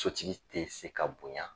Sotigi tɛ se ka bonya.